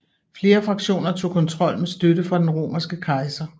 Flere fraktioner tog kontrol med støtte fra den romerske kejser